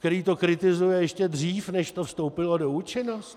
Který to kritizuje ještě dřív, než to vstoupilo v účinnost?